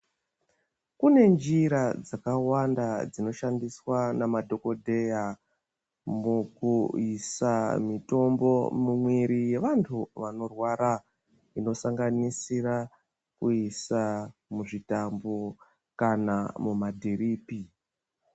Kunenjira dzakawanda dzinoshandiswa namadhokodheya mukuyisa mitombo mumwiri yevantu vanorwara, inosanganisira kuyisa muzvitambo kana mumadhiriphi.